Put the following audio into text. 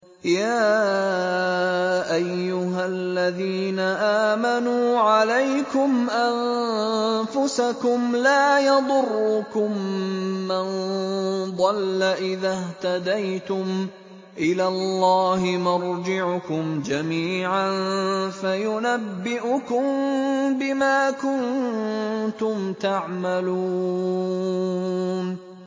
يَا أَيُّهَا الَّذِينَ آمَنُوا عَلَيْكُمْ أَنفُسَكُمْ ۖ لَا يَضُرُّكُم مَّن ضَلَّ إِذَا اهْتَدَيْتُمْ ۚ إِلَى اللَّهِ مَرْجِعُكُمْ جَمِيعًا فَيُنَبِّئُكُم بِمَا كُنتُمْ تَعْمَلُونَ